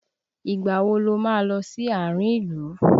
Ìgbà wo lo máa ń lọ sí àárín ìlú?